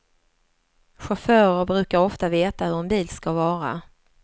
Chaufförer brukar ofta veta hur en bil ska vara.